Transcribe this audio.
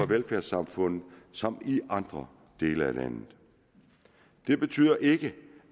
velfærdssamfundet som i andre dele af landet det betyder ikke